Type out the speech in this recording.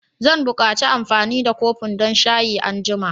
Zan buƙaci amfani da kofin don shayi anjima.